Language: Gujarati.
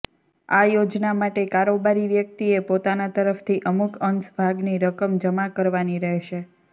આ યોજના માટે કારોબારી વ્યક્તિએ પોતાના તરફથી અમુક અંશ ભાગની રકમ જમા કરવાની રહેશે